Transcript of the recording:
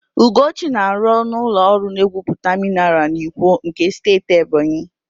Ugochi na-arụ n'ụlọ ọrụ na-egwuputa minaral n'Ikwo nke Steeti Ebonyi.